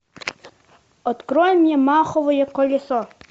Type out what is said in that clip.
открой мне маховое колесо